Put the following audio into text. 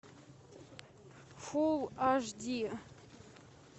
фул аш ди